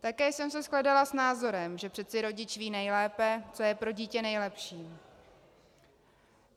Také jsem se shledala s názorem, že přece rodič ví nejlépe, co je pro dítě nejlepší.